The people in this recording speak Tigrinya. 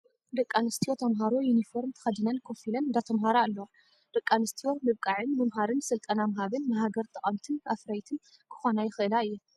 ደቂ ኣንስትዮ ተማሃሮ ዩኒፎርም ተከዲነን ኮፍ ኢለን እንዳተማሃራ ኣለዋ። ደቂ ኣንስትዮ ምብቃዕን ምምሃርን ስልጠና ምሃብን ንሃገር ጠቀምትን ኣፍረይትን ክኮና ይክእላ እየን።